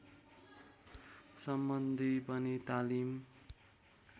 सम्बन्धी पनि तालिम